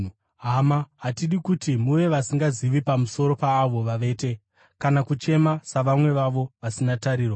Hama, hatidi kuti muve vasingazivi pamusoro paavo vavete, kana kuchema savamwe vavo, vasina tariro.